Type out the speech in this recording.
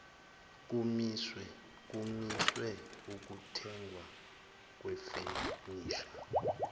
kumiswe ukuthengwa kwefenisha